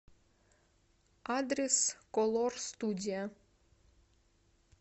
адрес колор студия